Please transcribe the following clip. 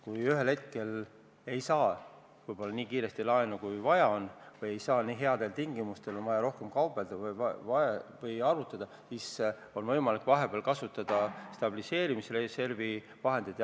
Kui me ühel hetkel võib-olla ei saa nii kiiresti laenu, kui on vaja, või ei saa seda nii headel tingimustel ja on vaja rohkem kaubelda või arutada, siis on vahepeal võimalik kasutada stabiliseerimisreservi vahendeid.